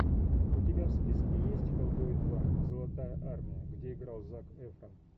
у тебя в списке есть хеллбой два золотая армия где играл зак эфрон